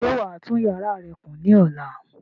Ṣé wàá tún yàrá rẹ kùn ní ọ̀la?